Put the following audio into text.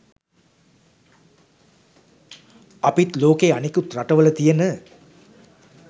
අපිත් ලෝකේ අනෙකුත් රටවල තියෙන